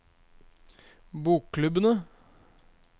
bokklubbene